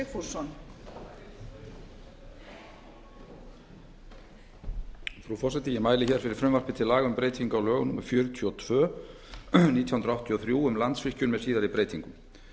frú forseti ég mæli fyrir frumvarpi til laga um breyting á lögum númer fjörutíu og tvö nítján hundruð áttatíu og þrjú um landsvirkjun með síðari breytingum